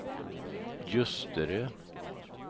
Ljusterö